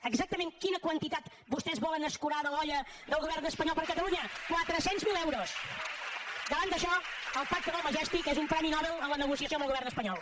exactament quina quantitat vostès volen escurar de l’olla del govern espanyol per a catalunya quatre cents mil euros davant d’això el pacte del majestic és un premi nobel en la negociació amb el govern espanyol